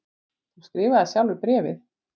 Þú skrifaðir sjálfur bréfin.